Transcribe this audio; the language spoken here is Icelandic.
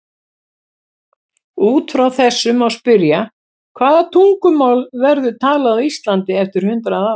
Út frá þessu má spyrja: Hvaða tungumál verður talað á Íslandi eftir hundrað ár?